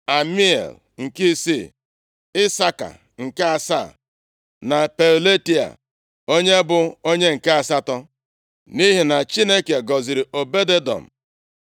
Amiel, nke isii Isaka, nke asaa na Peuletai, onye bụ onye nke asatọ. Nʼihi na Chineke gọziri Obed-Edọm.